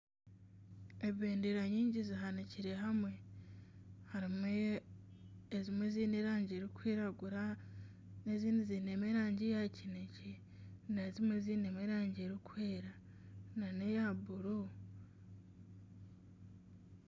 Ebendera nyingi zihanikire hamwe. Harimu ezimwe ziine erangi erikwiragura, ezindi ziine mu erangi ya kinekye, n'ezindi ziine erangi erikwera nana era buru.